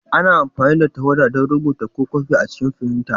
Ana amfani da tawada don rubuta ko kwafi a cikin firinta.